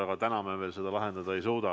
Aga täna me seda lahendada ei suuda.